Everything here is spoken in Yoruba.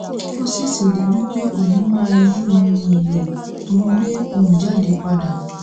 ó sì ṣèlérí pé òun máa yí ohun èlò tó ń gbé ohùn jáde padà